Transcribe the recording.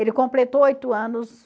Ele completou oito anos.